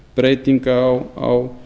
breytinga á